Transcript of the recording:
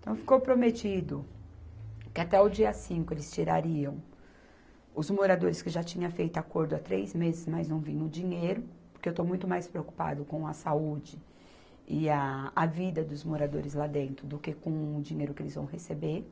Então, ficou prometido que até o dia cinco eles tirariam os moradores que já tinham feito acordo há três meses, mas não viam o dinheiro, porque eu estou muito mais preocupada com a saúde e a, a vida dos moradores lá dentro do que com o dinheiro que eles vão receber,